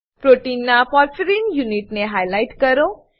પ્રોટીનના પોર્ફાયરિન યુનિટને હાઈલાઈટ કરો